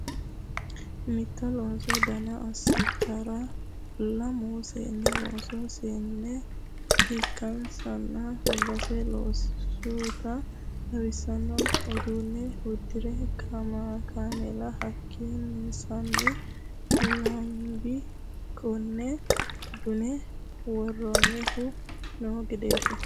Mitto loosu dana assittara lamu seenni loosu seene ikkansanna base loosutta xawisano uduune uddire kaameellate hakinsani lambi kone duune woronihu no gedeti.